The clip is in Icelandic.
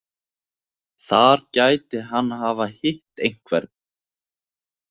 Þar gæti hann hafa hitt einhvern.